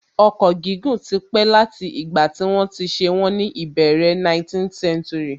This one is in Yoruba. Ọkọ̀ gígùn tí pé láti ìgbà tí wọ́n ti ṣe wọ́n ní ìbẹ̀rẹ̀ 19th century